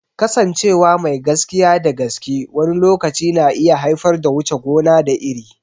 Kasancewa mai gaskiya da gaske wani lokaci na iya haifar da wuce gona da iri.